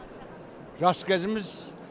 жас кезіміз